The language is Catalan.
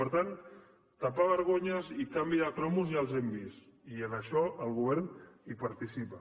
per tant tapar vergonyes i canvi de cromos ja ho hem vist i en això el govern hi participa